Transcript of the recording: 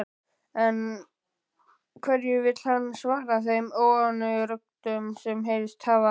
En hverju vill hann svara þeim óánægjuröddum sem heyrst hafa?